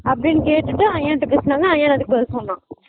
அப்படின்னு கேட்டுட்டு அயன் ட பேசுனாங்க அயன் அதுக்கு பதில் சொன்னான்